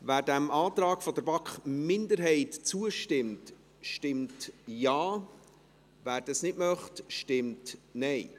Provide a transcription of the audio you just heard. Wer dem Antrag der BaK-Minderheit zustimmt, stimmt Ja, wer das nicht möchte, stimmt Nein.